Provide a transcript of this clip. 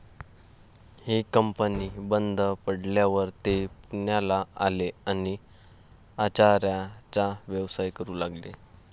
ही company बंद पडल्यावर ते पुण्याला आले आणि आचाऱ्याचा व्यवसाय करू लागले.